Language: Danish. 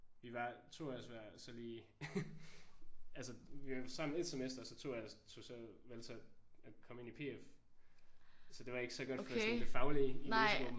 Vi var 2 af os var så lige altså vi var sammen 1 semester og så tog jeg så tog valgte så at komme ind i PF så det var ikke så godt for sådan det faglige i læsegruppen